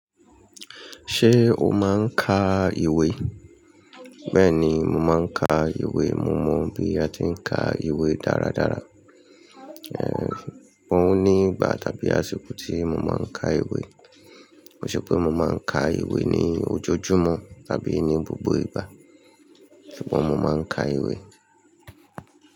Ṣé o máa ń ka ìwé? Bẹ́ẹ̀ni, mo máa ń ka ìwé. Mo mọ bí a ti ń ka ìwé dáradára. Ẹ̀h, òun ní ìgbà tàbí àsìkò tí mo máa ń ka ìwé. Ó ṣe pé mo máa ń ka ìwé ní ojojúmọ́ tàbí ní gbogbo ìgbà. Ṣùgbọ́n mo máa ń ka ìwé.